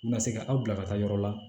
U na se ka aw bila ka taa yɔrɔ la